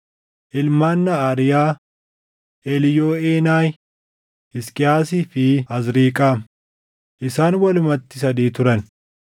Ilmaan Naʼaariyaa: Eliiyooʼeenayi, Hisqiyaasii fi Azriiqaam; isaan walumatti sadii turan.